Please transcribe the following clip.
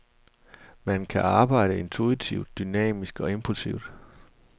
Man kan arbejde intuitivt, dynamisk og impulsivt.